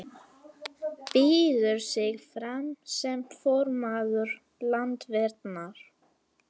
Býður sig fram sem formaður Landverndar